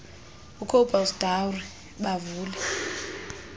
ucobus dowry bavule